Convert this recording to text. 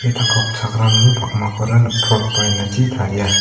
tangka okchakramni pakmakora nikprotba ainachi taria.